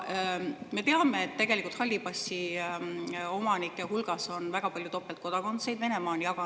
Me teame, et halli passi omanike hulgas on tegelikult väga palju topeltkodakondsusega.